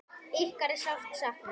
Ykkar er sárt saknað.